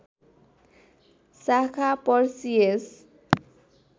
शाखा पर्सियस